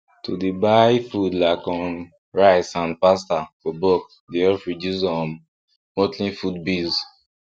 to dey buy food like um rice and pasta for bulk dey help reduce um monthly food bills